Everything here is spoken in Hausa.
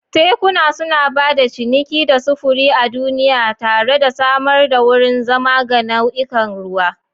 Tekuna suna ba da ciniki da sufuri a duniya tare da samar da wurin zama ga nau'ikan ruwa.